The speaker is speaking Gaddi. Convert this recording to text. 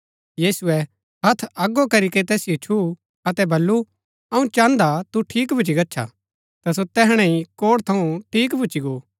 यीशुऐ हत्थ अगो करीके तैसिओ छुऊँ अतै बल्लू अऊँ चाहन्दा तू ठीक भूच्ची गच्छा ता सो तैहणै ही कोढ़ थऊँ ठीक भूच्ची गो